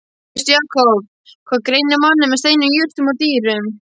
Veistu, Jakob, hvað greinir manninn frá steinum, jurtum og dýrum?